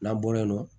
N'an bɔ yen nɔ